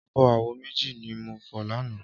Ábò áwó méji ni mó fò làná